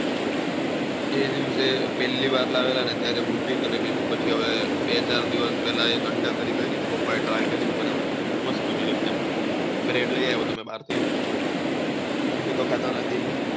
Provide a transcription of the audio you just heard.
એવું છે પેહલી વાર લાવેલા ને ત્યારે ભુરજી કરેલી ને પછી હવે બે ચાર દિવસ પેહલા અંડા કરી કરી હતી પપ્પા એ ટ્રાય કરી હતી બનવાની મસ્ત બની હતી એક્દુમ બ્રેડ લઇ આયેલો હું ભાહ્ર થી મમ્મી તો ખાતા નથી